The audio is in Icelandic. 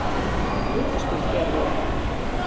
Vitaskuld gerði ég það.